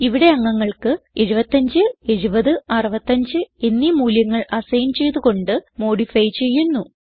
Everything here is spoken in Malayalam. ഇവിടെ അംഗങ്ങൾക്ക് 75 70 65 എന്നീ മൂല്യങ്ങൾ അസൈൻ ചെയ്ത് കൊണ്ട് മോഡിഫൈ ചെയുന്നു